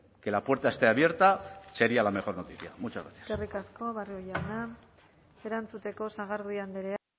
que la puerta esté abierta sería la mejor noticia muchas gracias eskerrik asko barrio jauna erantzuteko sagardui andrea